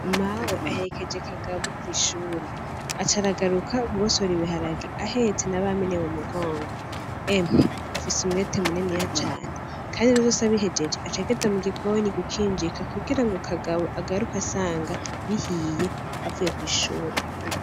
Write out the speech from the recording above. Mawe aherekeje Kagabo kw'ishure , aca aragaruka kugosora ibiharage ahetse na Bamene mu mugongo, emwe afise umwete muniniya cane ,Kandi ivyo vyose abihejeje aca agenda mu gikoni gukinjika kugirango Kagabo agaruke asanga bihiye avuye kw'ishure.